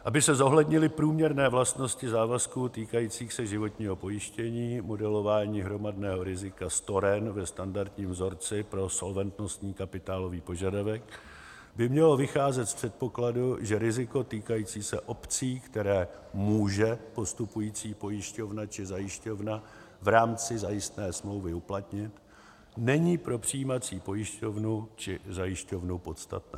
Aby se zohlednily průměrné vlastnosti závazků týkajících se životního pojištění, modelování hromadného rizika storen ve standardním vzorci pro solventnostní kapitálový požadavek by mělo vycházet z předpokladů, že riziko týkající se obcí, které může postupující pojišťovna či zajišťovna v rámci zajistné smlouvy uplatnit, není pro přijímací pojišťovnu či zajišťovnu podstatné.